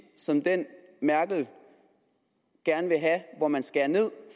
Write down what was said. som den merkel gerne vil have hvor man skærer ned